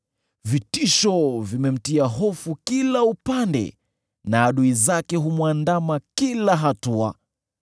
Vitisho vimemtia hofu kila upande, na adui zake humwandama kila hatua.